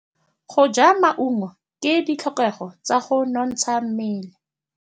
Go ja maungo ke ditlhokegô tsa go nontsha mmele.